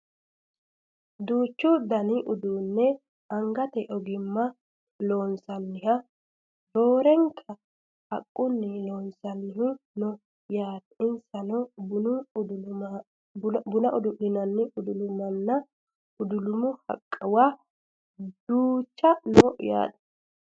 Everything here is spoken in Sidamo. duuchu dani uduunne angate ogimmanni loonsoonniha roorenka haqqunni loonsoonnihu no yaate insano buna udu'linannihu udulumunna udulumu haqquwa duucha no yaate